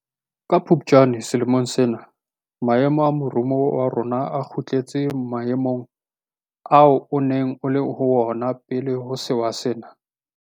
Ka Phuptjane selemong sena maemo a moruo wa rona a kgutletse maemong ao o neng o le ho ona pele ho sewa sena.